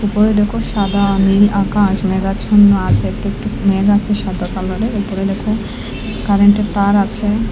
উপরে দেখো সাদা নীল আকাশ মেঘাচ্ছন্ন আছে একটু একটু মেঘ আছে সাদা কালারের উপরে দেখো কারেন্টের তার আছে।